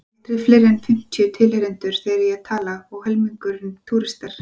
Aldrei fleiri en fimmtíu tilheyrendur þegar ég tala, og helmingurinn túristar.